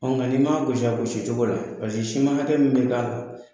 Ɔ nka n'i ma gosi a gosi cogo la ,paseke siman hakɛ min bɛ d'a la.